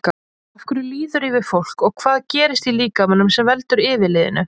Af hverju líður yfir fólk og hvað gerist í líkamanum sem veldur yfirliðinu?